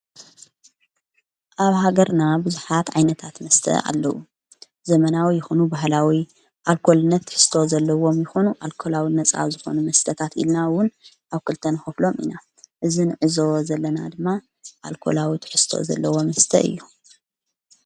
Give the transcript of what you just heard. ኣብ ሃገርና ብዙኃት ኣይነታት መስተ ኣለዉ ዘመናዊ ይኾኑ ባህላዊይ ኣልኮልነት ክርስቶ ዘለዎም ይኾኑ ኣልኮላዊ ነፃ ዝኾኑ መስተታት ኢልናውን ኣብ ኲልተንሆፍሎም ኢና እዝን እዞ ዘለና ድማ ኣልኮላዊ ክርስቶ ዘለዎ ምስተ እዩ።